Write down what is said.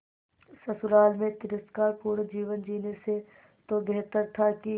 ससुराल में तिरस्कार पूर्ण जीवन जीने से तो बेहतर था कि